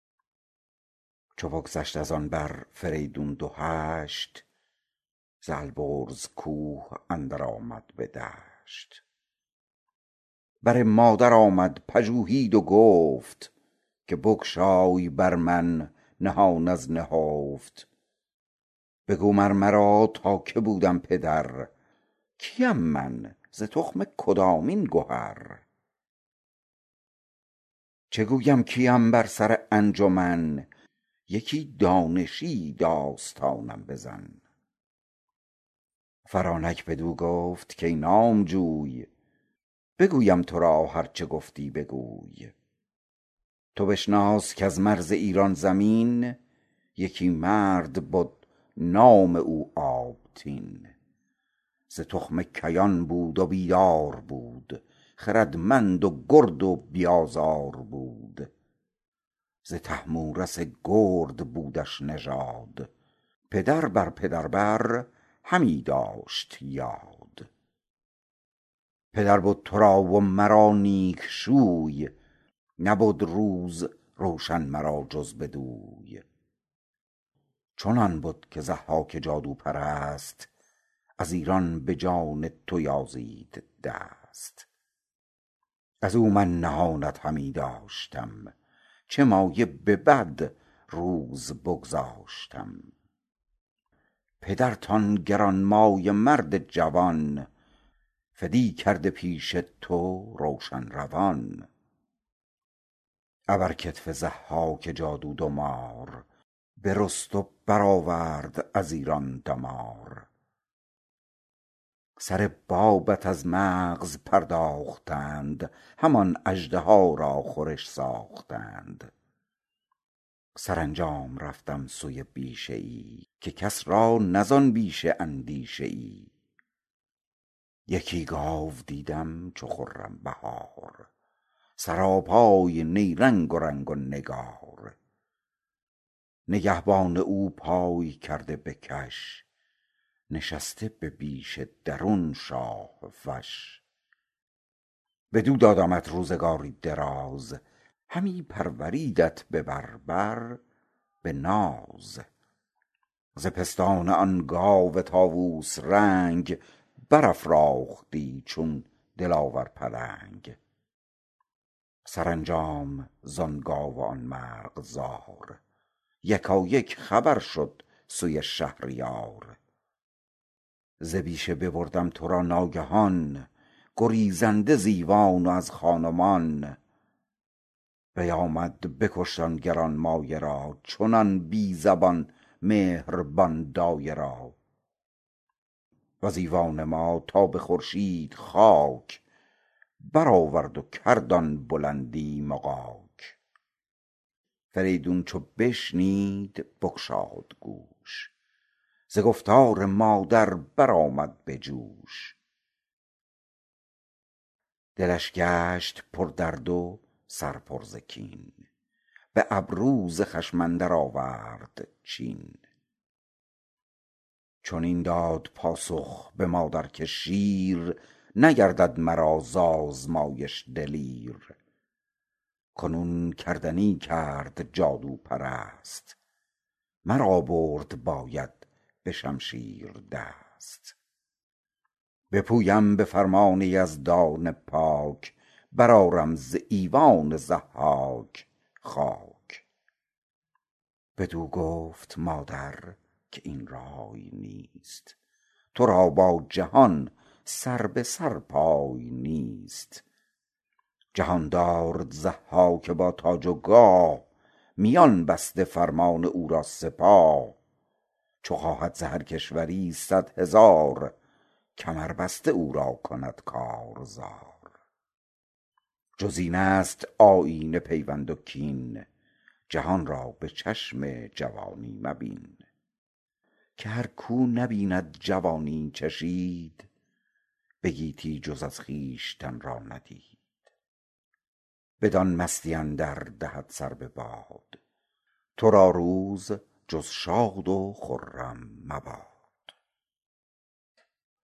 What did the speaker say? چو بگذشت از آن بر فریدون دو هشت ز البرز کوه اندر آمد به دشت بر مادر آمد پژوهید و گفت که بگشای بر من نهان از نهفت بگو مر مرا تا که بودم پدر کیم من ز تخم کدامین گهر چه گویم کیم بر سر انجمن یکی دانشی داستانم بزن فرانک بدو گفت کای نامجوی بگویم تو را هر چه گفتی بگوی تو بشناس کز مرز ایران زمین یکی مرد بد نام او آبتین ز تخم کیان بود و بیدار بود خردمند و گرد و بی آزار بود ز طهمورث گرد بودش نژاد پدر بر پدر بر همی داشت یاد پدر بد تو را و مرا نیک شوی نبد روز روشن مرا جز بدوی چنان بد که ضحاک جادوپرست از ایران به جان تو یازید دست از او من نهانت همی داشتم چه مایه به بد روز بگذاشتم پدرت آن گرانمایه مرد جوان فدی کرده پیش تو روشن روان ابر کتف ضحاک جادو دو مار برست و برآورد از ایران دمار سر بابت از مغز پرداختند همان اژدها را خورش ساختند سرانجام رفتم سوی بیشه ای که کس را نه زآن بیشه اندیشه ای یکی گاو دیدم چو خرم بهار سراپای نیرنگ و رنگ و نگار نگهبان او پای کرده به کش نشسته به بیشه درون شاه فش بدو دادمت روزگاری دراز همی پروردیدت به بر بر به ناز ز پستان آن گاو طاووس رنگ برافراختی چون دلاور پلنگ سرانجام زآن گاو و آن مرغزار یکایک خبر شد سوی شهریار ز بیشه ببردم تو را ناگهان گریزنده ز ایوان و از خان و مان بیامد بکشت آن گرانمایه را چنان بی زبان مهربان دایه را وز ایوان ما تا به خورشید خاک برآورد و کرد آن بلندی مغاک فریدون چو بشنید بگشاد گوش ز گفتار مادر برآمد به جوش دلش گشت پردرد و سر پر ز کین به ابرو ز خشم اندر آورد چین چنین داد پاسخ به مادر که شیر نگردد مگر ز آزمایش دلیر کنون کردنی کرد جادوپرست مرا برد باید به شمشیر دست بپویم به فرمان یزدان پاک برآرم ز ایوان ضحاک خاک بدو گفت مادر که این رای نیست تو را با جهان سر به سر پای نیست جهاندار ضحاک با تاج و گاه میان بسته فرمان او را سپاه چو خواهد ز هر کشوری صدهزار کمر بسته او را کند کارزار جز این است آیین پیوند و کین جهان را به چشم جوانی مبین که هر کاو نبید جوانی چشید به گیتی جز از خویشتن را ندید بدان مستی اندر دهد سر بباد تو را روز جز شاد و خرم مباد